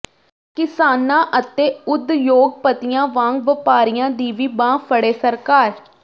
ਕਿਸਾਨਾਂ ਅਤੇ ਉਦਯੋਗਪਤੀਆਂ ਵਾਂਗ ਵਪਾਰੀਆਂ ਦੀ ਵੀ ਬਾਂਹ ਫੜੇ ਸਰਕਾਰ